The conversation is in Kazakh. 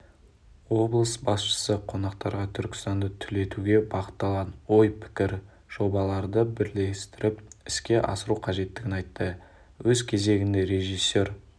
облыс басшысы қонақтарға түркістанды түлетуге бағытталған ой-пікір жобаларды бірлесіп іске асыру қажеттігін айтты өз кезегінде режиссер